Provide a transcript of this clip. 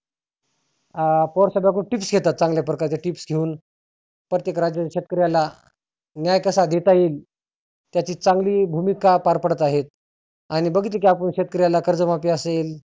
अं पवार साहेबाकडुन tips घेतात चांगल्या प्रकारच्या tips घेऊन प्रत्येक राज्यातील शेतकर्याला न्याय कसा देता येईल त्याची चांगली भुमीका पार पाडत आहे. आणि बघितलं की आपण शेतकर्याला कर्ज माफी असेल